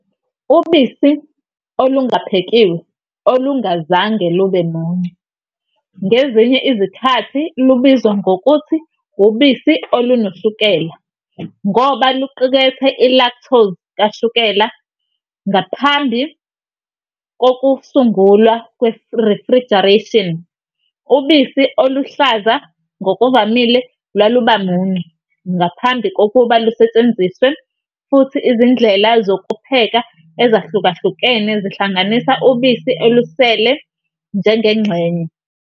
Ubisi olungaphekiwe olungazange lube muncu ngezinye izikhathi lubizwa ngokuthi "ubisi olunoshukela", ngoba luqukethe i-lactose kashukela. Ngaphambi kokusungulwa kwe-refrigeration, ubisi oluhlaza ngokuvamile lwalubamuncu ngaphambi kokuba lusetshenziswe, futhi izindlela zokupheka ezahlukahlukene zihlanganisa ubisi olusele njengengxenye.